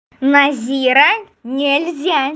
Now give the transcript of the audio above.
назира нельзя